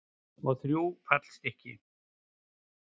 Og þrjú fallstykki.